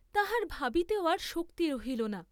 তাহার ভাবিতেও আর শক্তি রহিল না।